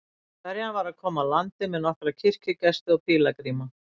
Ferjan var að koma að landi með nokkra kirkjugesti og pílagríma.